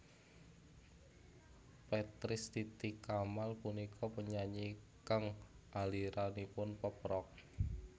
Petris Titi Kamal punika penyanyi kang aliranipun pop rock